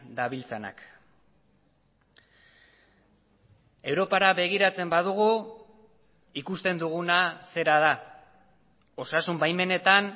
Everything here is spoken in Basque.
dabiltzanak europara begiratzen badugu ikusten duguna zera da osasun baimenetan